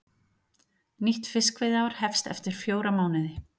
Nýtt fiskveiðiár hefst eftir fjóra mánuði